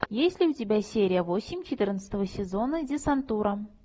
есть ли у тебя серия восемь четырнадцатого сезона десантура